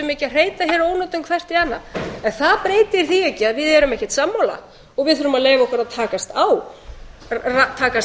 ónotum hvert í annað en það breytir því ekki að við erum ekkert sammála og við þurfum að leyfa okkur að takast á takast